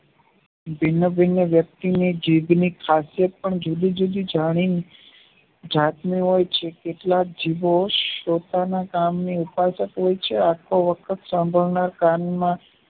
ભિન્ન ભિન્નવ્યક્તિ ની જીભની ખાસિયત પણ જુદી જુદી જમીન જાતની હોય છે કેટલાક જીભો પોતાના કામ ની ઉત્પાદક હોય છે કાન માં